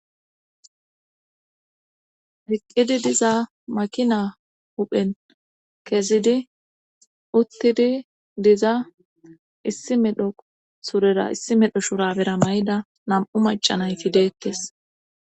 eqqidi diza makina huphen kesidi uttidi diza issi medho surera issi medho shurabera may7da nam7u macanayti deettes